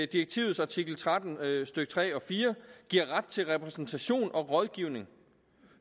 direktivets artikel tretten stykke tre og fire giver ret til repræsentation og rådgivning